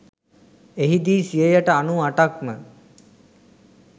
එහිදී සියයට අනූඅටක්ම